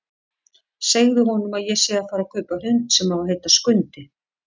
Segðu honum að ég sé að fara að kaupa hund sem á að heita Skundi!